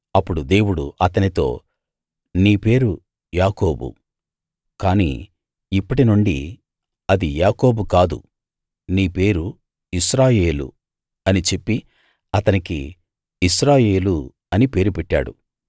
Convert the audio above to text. అప్పుడు దేవుడు అతనితో నీ పేరు యాకోబు కానీ ఇప్పటినుండి అది యాకోబు కాదు నీ పేరు ఇశ్రాయేలు అని చెప్పి అతనికి ఇశ్రాయేలు అని పేరు పెట్టాడు